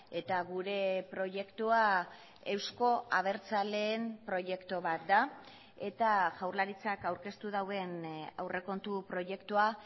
eta gure proiektua euzko abertzaleen proiektu bat da eta jaurlaritzak aurkeztu duen aurrekontu proiektua